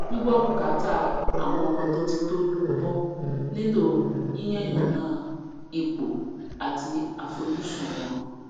gbígbọ bùkátà àwọn ọmọ tó ti tójú bọ nílò yíyànnànán ipò àti àfojúsun wọn